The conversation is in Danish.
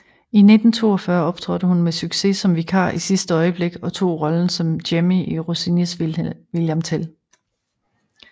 I 1942 optrådte hun med succes som vikar i sidste øjeblik og tog rollen som Jemmy i Rossinis William Tell